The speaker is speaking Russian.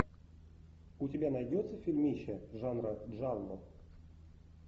у тебя найдется фильмище жанра джалло